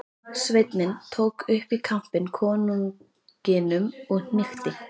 Sveinninn tók upp í kampinn konunginum og hnykkti.